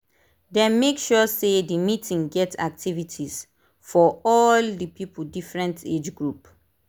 dem make sure say the meeting get activities for all the people different age group